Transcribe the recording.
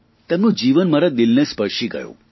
તેમનું જીવન મારા દિલને સ્પર્શી ગયું